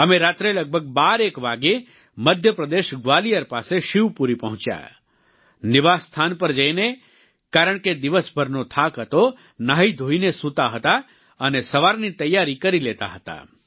અમે રાત્રે લગભગ બાર એક વાગ્યે મધ્યપ્રદેશ ગ્વાલિયર પાસે શિવપુરી પહોંચ્યા નિવાસસ્થાન પર જઈને કારણ કે દિવસભરનો થાક હતો ન્હાઈધોઈને સૂતા હતા અને સવારની તૈયારી કરી લેતા હતા